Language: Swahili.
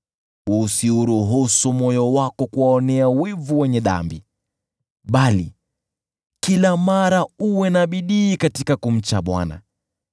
Usiuruhusu moyo wako kuwaonea wivu wenye dhambi, bali kila mara uwe na bidii katika kumcha Bwana .